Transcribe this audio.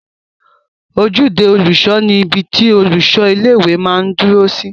Ojúde olùṣọ ni ibi tí olùṣọ ilé-ìwé máa n dúró sí